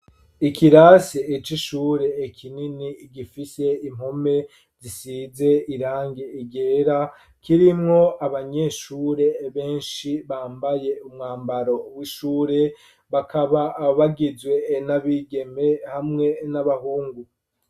Ikirasi c'ishure kinini, gifise impome zisize irangi ryera, kirimwo abanyeshure benshi bambaye umwambaro w'ishure, bakaba bagizwe n'abigeme hamwe n'abahungu.